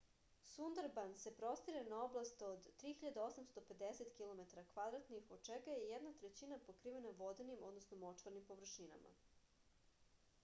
сундарбанс се простире на области од 3850 km² од чега је једна трећина покривена воденим/мочварним површинама